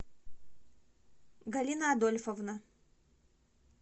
галина адольфовна